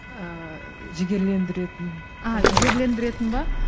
ыыы жігерлендіретін а жігерлендіретін бе